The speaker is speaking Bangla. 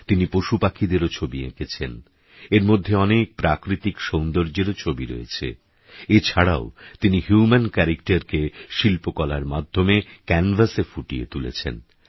তিনিপশুপাখিদেরওছবিএকেঁছেন এরমধ্যেঅনেকপ্রাকৃতিকসৌন্দর্যেরছবিওরয়েছে এছাড়াওতিনিhuman characterকেশিল্পকলারমাধ্যমেcanvassএফুটিয়েতুলেছেন